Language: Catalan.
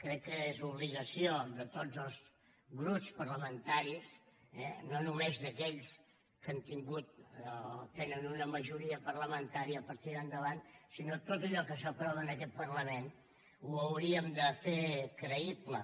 crec que és obligació de tots els grups parlamentaris eh no només d’aquells que han tingut o tenen una majoria parlamentària per tirar endavant sinó tot allò que s’aprova en aquest parlament ho hauríem de fer creïble